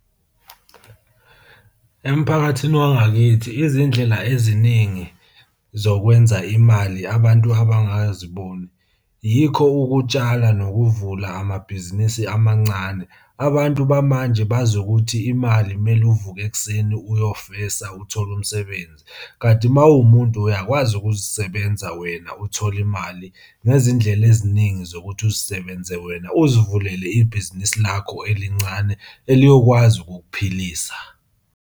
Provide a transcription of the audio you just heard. Emphakathini wangakithi, izindlela eziningi zokwenza imali abantu abangaziboni yikho ukutshala nokuvula amabhizinisi amancane. Abantu bamanje bazi ukuthi imali kumele uvuke ekuseni uyofela uthole umsebenzi, kanti uma uwumuntu uyakwazi ukuzisebenza wena uthole imali ngezindlela eziningi zokuthi uzisebenze wena uzivulele ibhizinisi lakho elincane eliyokwazi ukukuphilisa.